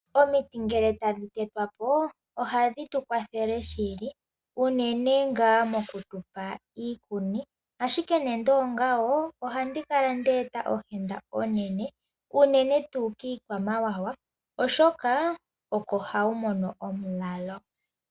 Omiti ngele tadhi tetwa po ohadhi tu kwathele shili, unene ngaa moku tu pa iikuni, ashike nando ongawo ohandi kala nde eta ohenda onene unene tuu kiikwamawawa, oshoka oko hayi mono omulalo.